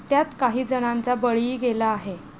त्यात काही जणांचा बळीही गेला आहे.